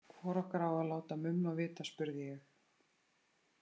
Hvor okkar á að láta Mumma vita, spurði ég.